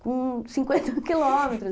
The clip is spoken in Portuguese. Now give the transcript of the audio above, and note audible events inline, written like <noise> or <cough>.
Com cinquenta <laughs> quilômetros.